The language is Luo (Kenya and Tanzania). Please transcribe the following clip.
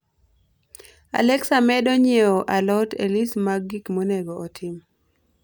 alexa medo nyiewo alot e list mar gik monego otim